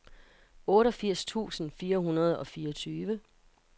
otteogfirs tusind fire hundrede og fireogtyve